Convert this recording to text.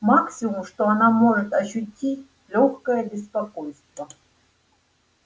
максимум что она может ощутить лёгкое беспокойство